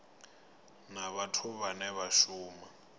na vhathu vhane vha shuma